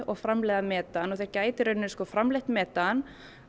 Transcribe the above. framleiða metan og þeir gætu í rauninni framleitt metan